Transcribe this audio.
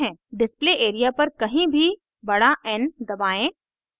display area पर कहीं भी बड़ा n दबाएं